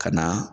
Ka na